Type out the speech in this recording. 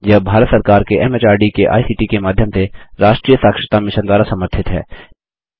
यह भारत सरकार के एमएचआरडी के आईसीटी के माध्यम से राष्ट्रीय साक्षरता मिशन द्वारा समर्थित है